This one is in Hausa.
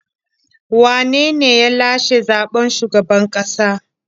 Wane ne ya lashe zaɓen shugaban ƙasa?